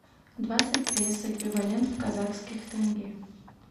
двадцать песо эквивалент в казахских тенге